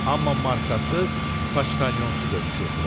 Amma markasız, paçtalyonsuz ötüşürdülər.